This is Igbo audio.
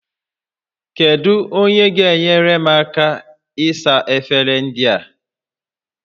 Kedu onye ga-enyere m aka ịsa efere ndị a?